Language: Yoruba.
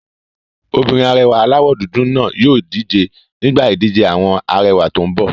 Obìnrin arẹwà aláwọ̀ dúdú náà yóò díje nígbà ìdíje àwọn arẹwà tó n bọ̀